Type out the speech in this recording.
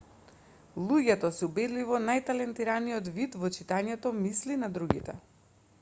луѓето се убедливо најталентираниот вид во читањето мисли на другите